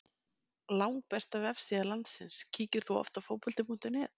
Langbesta vefsíða landsins Kíkir þú oft á Fótbolti.net?